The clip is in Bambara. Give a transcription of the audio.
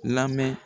Lamɛn